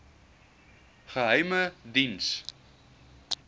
geheimediens